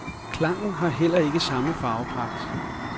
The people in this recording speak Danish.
Klangen har heller ikke samme farvepragt.